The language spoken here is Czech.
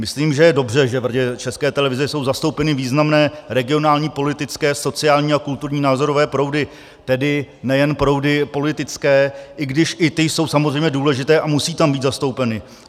Myslím, že je dobře, že v Radě České televize jsou zastoupeny významné regionální, politické, sociální a kulturní názorové proudy, tedy nejen proudy politické, i když i ty jsou samozřejmě důležité a musí tam být zastoupeny.